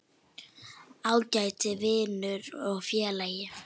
Ágæti vinur og félagi.